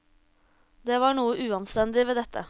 Det var noe uanstendig ved dette.